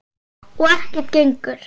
Og ekkert gengur.